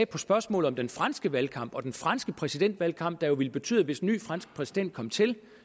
på spørgsmål om den franske valgkamp og den franske præsidentvalgkamp der jo ville betyde at hvis en ny fransk præsident kom til